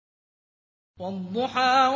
وَالضُّحَىٰ